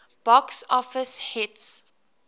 box office hits